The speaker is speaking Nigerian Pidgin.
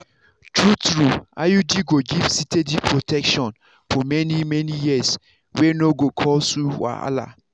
true-true iud go give steady protection for many-many years wey no go cause you wahala.